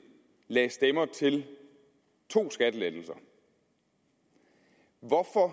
lagde stemmer til to skattelettelser hvorfor